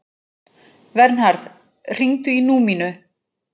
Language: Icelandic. Vernharð, hringdu í Númínu.